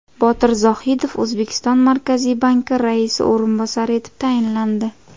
Botir Zohidov O‘zbekiston Markaziy banki raisi o‘rinbosari etib tayinlandi.